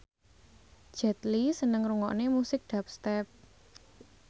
Jet Li seneng ngrungokne musik dubstep